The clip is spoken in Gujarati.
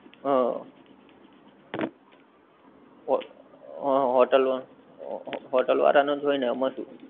હં. હં હોટેલ વા, હોટેલ વાળાં નો જ હોયને એમ સુ.